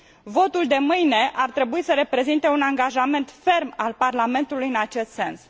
Votul de mâine ar trebui să reprezinte un angajament ferm al Parlamentului în acest sens.